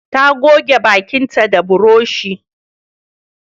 Ta goge bakinta da burushi